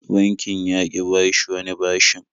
Bankin ya ƙi bashi wani bashin.